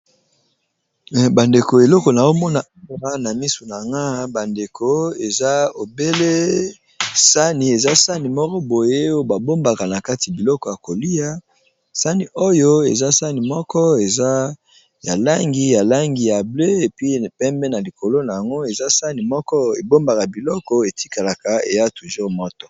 Bandeko eloko na omona awa na misu na nga bandeko eza obele sani eza sani moko boye oyo babombaka na kati biloko ya kolia sani oyo eza sani moko eza ya langi ya langi ya ble epi pembe na likolo na yango eza sani moko ebombaka biloko etikalaka eya toujours moto.